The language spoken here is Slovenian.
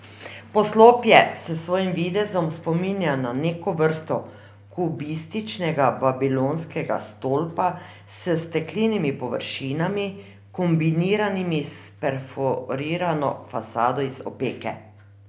Poslopje s svojim videzom spominja na neko vrsto kubističnega Babilonskega stolpa s steklenimi površinami, kombiniranimi s perforirano fasado iz opeke.